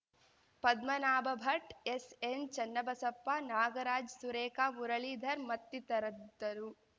Padmanabha Bhat S N Chennabasappa Nagaraj Surekha Muralidhar ಮತ್ತಿತರದ್ದರು